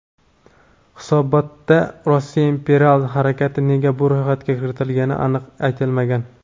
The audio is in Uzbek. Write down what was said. Hisobotda "Rossiya imperial harakati" nega bu ro‘yxatga kiritilgani aniq aytilmagan.